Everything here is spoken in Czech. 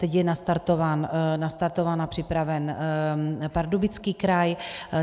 Teď je nastartován a připraven Pardubický kraj.